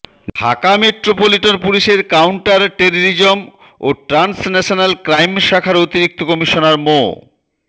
Dhaka metropolitan পুলিশের counter terrorism ও transnational crime শাখার অতিরিক্ত কমিশনার মো